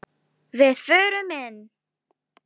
Við förum inn!